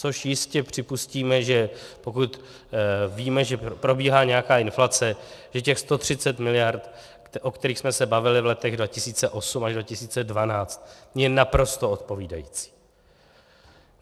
Což jistě připustíme, že pokud víme, že probíhá nějaká inflace, že těch 130 miliard, o kterých jsme se bavili v letech 2008 až 2012, je naprosto odpovídající.